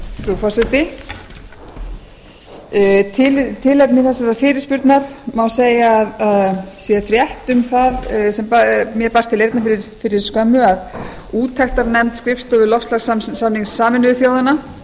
frú forseti tilefni þessarar fyrirspurnar má segja að sé frétt sem mér barst til eyrna fyrir skömmu að úttektarnefnd skrifstofu loftslagssamnings sameinuðu þjóðanna